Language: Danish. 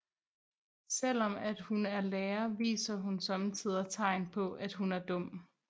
Selvom at hun er lærer viser hun sommetider tegn på at hun er dum